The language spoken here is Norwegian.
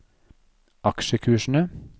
aksjekursene